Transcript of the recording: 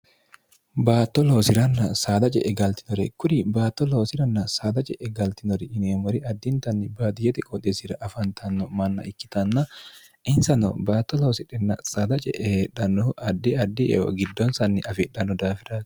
baatto loosiranna saada je'e galtinore kuri baatto loosiranna saada je'e galtinori yineemmori addintanni baadiyete qoodeesira afantanno manna ikkitanna insano baatto loosirhenna saada ce'e heedhannohu addi addi eo giddoonsanni afeedhanno daafirati